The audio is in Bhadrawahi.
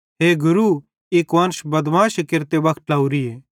हे गुरू ई कुआन्श बदमाशी केरते वक्त ट्लोरीए